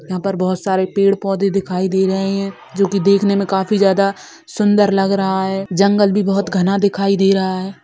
यहाँ पर बहुत सारे पेड़ पौधे दिखाई दे रहे है जो कि देखने मे काफी ज्यादा सुंदर लग रहा है जंगल भी बहुत घना दिखाई दे रहा है।